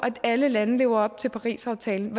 alle lande lever op til parisaftalen